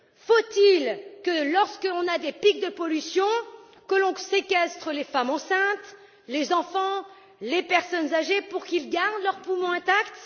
Faut il, lorsque l'on a des pics de pollution, que l'on séquestre les femmes enceintes, les enfants, les personnes âgées pour qu'ils gardent des poumons intacts?